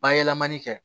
Bayɛlɛmani kɛ